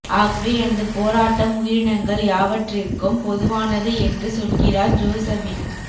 ஆகவே எனது போராட்டம் உயிரினங்கள் யாவற்றிற்கும் பொதுவானது என்று சொல்கிறார் ஜோசபின்